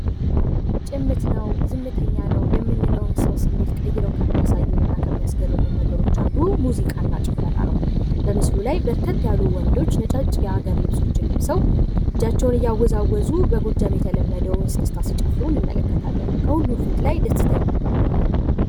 ጭምት ነው ዝምተኛ ነው የምንለውን ሰው ስሜት ቀይረው ከሚያሳዩ እና ከሚያስገርሙን ነገሮች አንዱ ሙዚቃና ጭፈራ ነው በምስሉ ላይ በርከት ያሉ ወንዶች ነጫጭ የሀገር ልብሶችን ልብሰው እጃቸውን እያወዛወዙ በጎጃም የተለመደውን እስክስታ ሲጨፍሩ እንመለከታለን። ከሁሉ ፊት ላይ ደስታ ይነበባል።